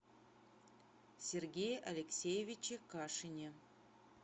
сергее алексеевиче кашине